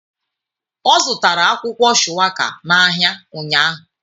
Ọ zụtara akwụkwọ shuwaka n'ahịa ụnyahụ.